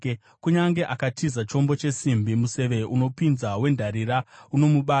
Kunyange akatiza chombo chesimbi, museve unopinza wendarira unomubaya.